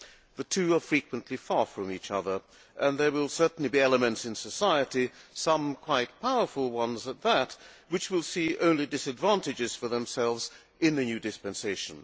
The two are frequently far from each other, and there will certainly be elements in society, some quite powerful ones at that, which will see only disadvantages for themselves in the new dispensation.